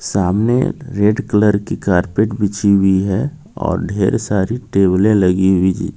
सामने red colour की carpet बिछी हुई है और ढेर सारी टैबले लगी हुई--